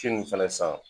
Si nun fɛnɛ san